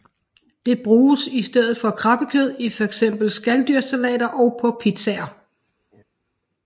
Det bruges i stedet for krabbekød i fx skaldyrssalater og på pizzaer